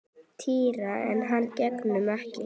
Týra en hann gegndi ekki.